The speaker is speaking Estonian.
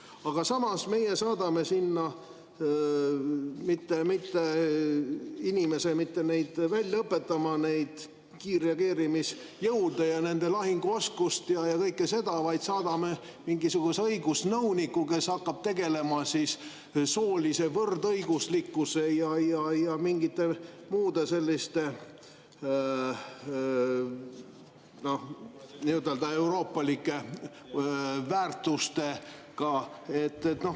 Aga samas, meie ei saada sinna inimest neid välja õpetama – neid kiirreageerimisjõude ja nende lahinguoskust ja kõike seda –, vaid saadame mingisuguse õigusnõuniku, kes hakkab tegelema soolise võrdõiguslikkuse ja mingite muude selliste nii-öelda euroopalike väärtustega.